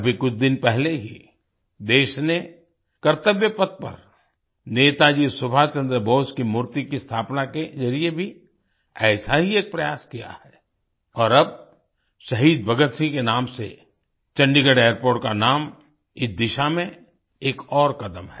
अभी कुछ दिन पहले ही देश ने कर्तव्यपथ पर नेताजी सुभाषचन्द्र बोस की मूर्ति की स्थापना के ज़रिये भी ऐसा ही एक प्रयास किया है और अब शहीद भगत सिंह के नाम से चंडीगढ़ एयरपोर्ट का नाम इस दिशा में एक और कदम है